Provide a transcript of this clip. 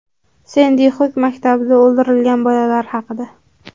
Sendi Xuk maktabida o‘ldirilgan bolalar haqida.